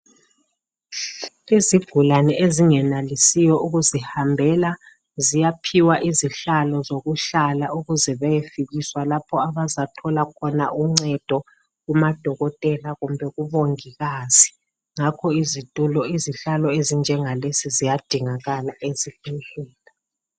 Izigulane ezingenelisiyo ukuzihambela ziyaphiwa izihlalo zokuhlala ukuze bayefikiswa lapho abazathola khona uncedo kumadokotela kumbe kubomongikazi. Ngakho izitulo ezinjengalezi ziyadingeka ezibhedlela.